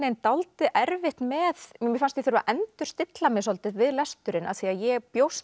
dálítið erfitt með mér fannst ég þurfa að endurstilla mig svolítið við lesturinn því ég bjóst